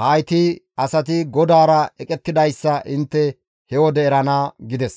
hayti asati GODAARA eqettidayssa intte he wode erana» gides.